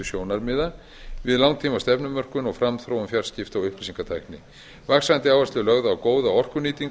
umhverfissjónarmiða við langtímastefnumörkun og framþróun fjarskipta og upplýsingatækni vaxandi áhersla er lögð á góða orkunýtingu